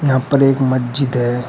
यहां पर एक मज्जिद है।